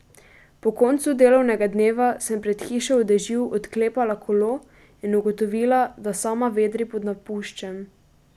Po koncu delovnega dneva sem pred hišo v dežju odklepala kolo in ugotovila, da sama vedri pod napuščem.